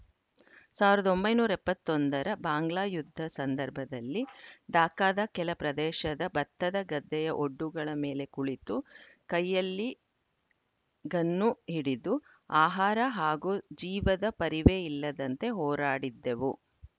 ಸಾವಿರದ ಒಂಬೈನೂರ ಎಪ್ಪತ್ತ್ ಒಂದರ ಬಾಂಗ್ಲಾ ಯುದ್ಧ ಸಂದರ್ಭದಲ್ಲಿ ಢಾಕಾದ ಕೆಲ ಪ್ರದೇಶದ ಭತ್ತದ ಗದ್ದೆಯ ಒಡ್ಡುಗಳ ಮೇಲೆ ಕುಳಿತು ಕೈಯಲ್ಲಿ ಗನ್ನು ಹಿಡಿದು ಆಹಾರ ಹಾಗೂ ಜೀವದ ಪರಿವೆ ಇಲ್ಲದಂತೆ ಹೋರಾಡಿದ್ದೆವು